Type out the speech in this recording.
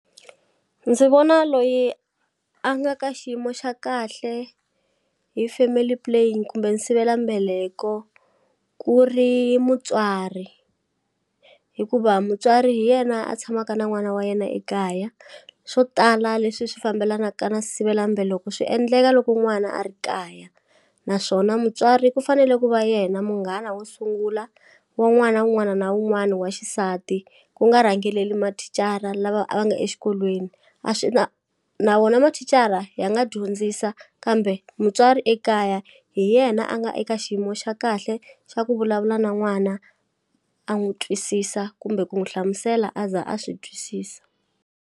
Ndzi vona loyi a nga ka xiyimo xa kahle hi family plain kumbe nsivela mbeleko ku ri mutswari hikuva mutswari hi yena a tshamaka na n'wana wa yena ekaya swo tala leswi swi fambelanaka na nsivelambeleko swi endleka loko n'wana a ri kaya naswona mutswari ku fanele ku va yena munghana wo sungula wa n'wana wun'wana na wun'wana wa xisati ku nga rhangeleli mathicara lava a va nga exikolweni a swi na na wona mathicara ya nga dyondzisa kambe mutswari ekaya hi yena a nga eka xiyimo xa kahle xa ku vulavula na n'wana a n'wu twisisa kumbe ku n'wu hlamusela a za a swi twisisa.